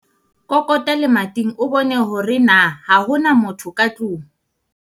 kokota lemating o bone hore na ha ho na motho ka tlong